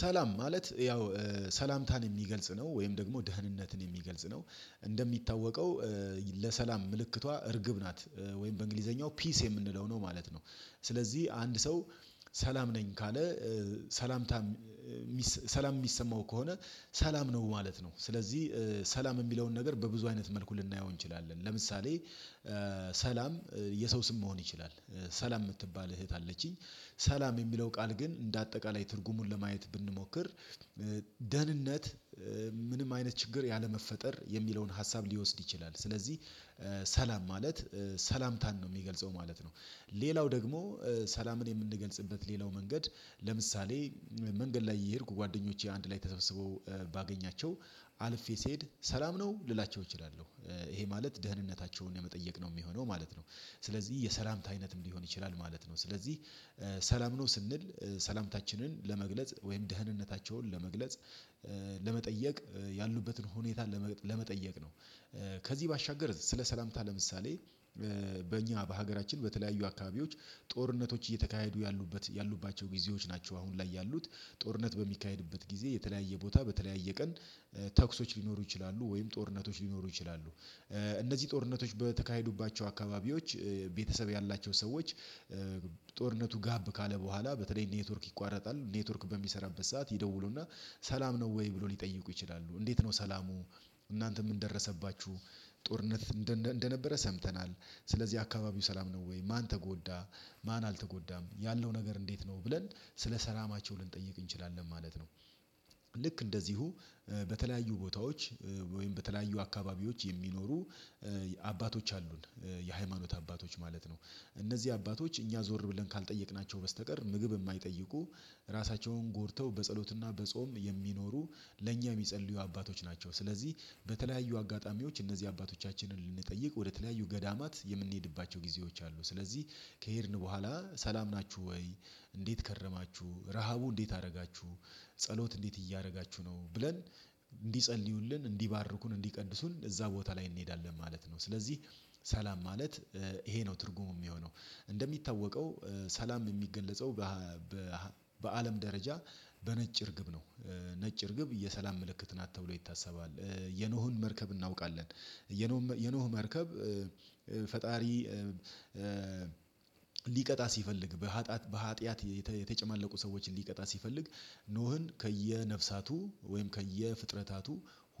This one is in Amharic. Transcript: ሰላም ማለት ያው ሰላምታን የሚገልጽ ነው ወይም ደግሞ ደህንነትን የሚገልጽ ነ። እንደሚታወቀው ለሰላም ምልክቷ እርግብ ናት ወይም በእንግሊዘኛው ፒስ የምንለው ነው ማለት ነው። ስለዚህ አንድ ሰው ሰላም ነኝ ካለ ሰላም ሰላም የሚሰማው ከሆነ ሰላም ነው ማለት ነው። ስለዚህ ሰላም የሚለውን ነገር በብዙ አይነት መልኩ ልናየው እንችላለን ለምሳሌ ሰላም የሰው ስም መሆን ይችላል። ሰላም የምትባል እህት አለችኝ ሰላም የሚለው ቃል ግን እንደ አጠቃላይ ትርጉሙን ለማየት ብንሞክር ደህንነት ምንም አይነት ችግር ያለመፈጠር የሚለውን ሀሳብ ሊወስድ ይችላል ስለዚህ ሰላም ማለት ሰላምታን ነው የሚገልጸው ማለት ነው። ሌላው ደግሞ ሰላምን የምንገልጽበት ሌላው መንገድ ለምሳሌ መንገድ ላይ እየሄድኩ ጓደኞቼ አንድ ላይ ተሰብስበው ባገኛቸው አልፌ ስሄድ ሰላም ነው ልላቸው እችላለሁ ይሄ ማለት ደህንነታቸውን የመጠየቅ ነው የሚሆነው ማለት ነው። ስለዚህ የሰላምታ አይነትም ሊሆን ይችላል ማለት ነው። ስለዚህ፦ ሰላም ነው ስንል ሰላምታችንን ለመግለጽ ወይም ደህንነታቸውን ለመግለጽ ለመጠየቅ ያሉበትን ሁኔታ ለመጠየቅ ነው። ከዚህ ባሻገር ስለ ሰላምታ ለምሳሌ፦ በእኛ በሀገራችን በተለያዩ አካባቢዎች ጦርነቶች እየተካሄዱ ያሉባቸው ጊዜዎች ናቸው አሁን ላይ ያሉት ጦርነት በሚካሄድበት ጊዜ የተለያየ ቦታ በተለያየ ቀን ተኩሶች ሊኖሩ ይችላሉ ወይም ጦርነቶች ሊኖሩ ይችላሉ እነዚህ ጦርነቶች በተካሄዱባቸው አካባቢዎች ቤተሰብ ያላቸው ሰዎች ጦርነቱ ጋብ ካለ በኋላ በተለይ ኔትወርክ ይቋረጣል ኔትወርክ በሚሰራበት ሰዓት ይደውሉና ሰላም ነው ወይ ብሎ ሊጠይቁ ይችላሉ እንዴት ነው ሰላሙ እናንተ ምን ደረሰባችሁ ጦርነት እንደነበረ ሰምተናል ስለዚህ አካባቢው ሰላም ነው ወይ ማን ተጎዳ ማን አልተጎዳም ያለው ነገር እንዴት ነው ብለን ስለ ሰላማቸው ልንጠይቅ እንችላለን ማለት ነው። ልክ እንደዚሁ በተለያዩ ቦታዎች ወይም በተለያዩ አካባቢዎች የሚኖሩ አባቶች አሉን የሃይማኖት አባቶች ማለት ነው እነዚህ አባቶች እኛ ዞር ብለን ካልጠየቅናቸው በስተቀር ምግብ የማይጠይቁ ራሳቸውን ጎድተው በጸሎትና በጾም የሚኖሩ ለእኛ የሚጸልዩ አባቶች ናቸው። ስለዚህ በተለያዩ አጋጣሚዎች እነዚህ አባቶቻችንን ልንጠይቅ ወደተለያዩ ገዳማት የምንሄድባቸው ጊዜዎች አሉ ስለዚህ ከሄድን በኋላ ሰላም ናችሁ ወይ እንዴት ከረማችሁ ረሃቡ እንዴት አደረጋችሁ ጸሎት እንዴት እያደረጋችሁ ነው ብለን እንዲጸልዩልን እንዲባርኩን እንዲቀድሱን እዛ ቦታ ላይ እንሄዳለን ማለት ነው። ስለዚህ ሰላም ማለት ይሄ ነው ትርጉሙ የሚሆነው እንደሚታወቀው ሰላም የሚገለጸው በአለም ደረጃ በነጭ እርግብ ነው ነጭ እርግብ የሰላም ምልክት ናት ተብሎ ይታሰባል የኖህን መርከብ እናውቃለን የኖህ የኖህ መርከብ ፈጣሪ ሊቀጣ ሲፈልግ በሀጥያት በሀጥያት የተጨማለቁ ሰዎችን ሊቀጣ ሲፈልግ ኖህን ከየነፍሳቱ ወይም ከየፍጥረታቱ